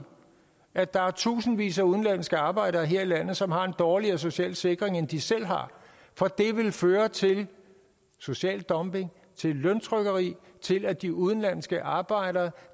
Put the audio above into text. at der er tusindvis af udenlandske arbejdere her i landet som har en dårligere social sikring end de selv har for det vil føre til social dumping til løntrykkeri og til at de udenlandske arbejdere